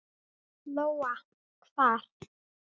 Lóa: Hvar?